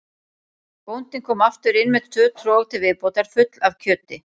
Bóndinn kom aftur inn með tvö trog til viðbótar full af kjöti.